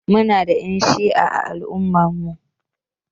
Muna da Ƴan shi'a a al'ummar mu.